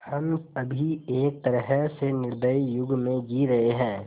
हम अभी एक तरह से निर्दयी युग में जी रहे हैं